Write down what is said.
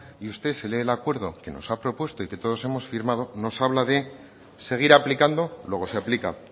y usted se lee el acuerdo que nos ha propuesto y que todos hemos firmado nos habla de seguir aplicando luego se aplica